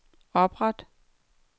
opret